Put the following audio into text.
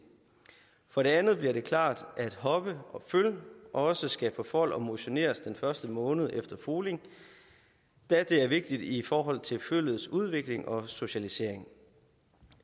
for det andet bliver det klart at hopper og føl også skal på fold og motioneres den første måned efter foling da det er vigtigt i forhold til føllets udvikling og socialisering